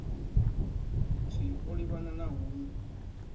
tswii o livhana na hungu